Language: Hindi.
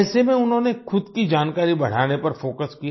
ऐसे में उन्होंने खुद की जानकारी बढ़ाने पर फोकस किया